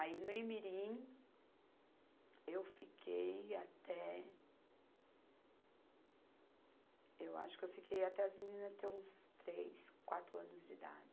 Aí, no Imirim, eu fiquei até. Eu acho que eu fiquei, até as meninas, ter uns três, quatro anos de idade.